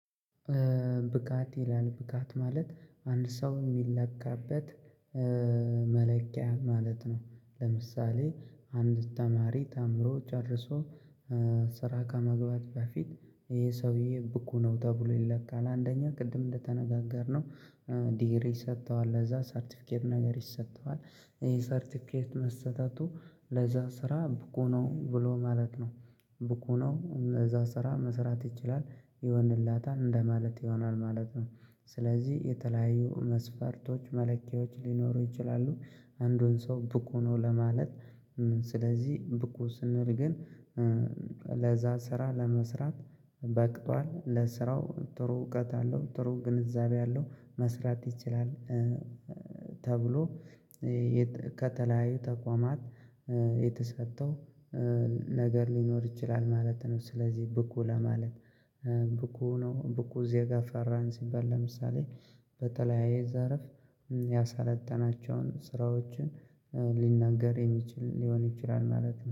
ብቃት የላን ብቃት ማለት አንድ ሰው የሚለካበት መለኪያ ማለት ነው። ለምሳሌ አንድ ተማሪ ተምሮ ጨርሶ ስራ ከመግባቱ በፊት ይሄ ሰውዬ ብቁ ነው ተብሎ ይለካል። አንደኛ ቅድም እንደተነጋገርነው ዲግሪ ይሰጠዋል ለዛ ሰርቲፊኬት ነገር ይሰጠዋል። ይሄ ሰርቲፊኬት መሰጠቱ ለዛ ስራ ብቁ ነው ብሎ ማለት ነው። ብቁ ነው ለዛ ስራ መስራት ይችላል ይሆንላታል እንደ ማለት ይሆናል ማለት ነው። ስለዚህ የተለያዩ መስፈርቶች መለኪያዎች ሊኖሩ ይችላሉ። አንዱን ሰው ብቁ ነው ለማለት። ስለዚህ ብቁ ስንል ግን ለዛ ስራ ለመስራት በቅቷል ለስራው ጥሩ እውቀት አለው ጥሩ ግንዛቤ አለው መስራት ይችላል። ተብሎ ከተለያዩ ተቋማት የተሰጠው ነገር ሊኖር ይችላል ማለት ነው። ስለዚህ ብቁ ለማለት ብቁ ነው ብቁ ዜጋ ፈራን ሲባል ለምሳሌ በተለያየ ዘርፍ ያሳለጠናቸውን ስራዎችን ሊናገር የሚችል ሊሆን ይችላል ማለት ነው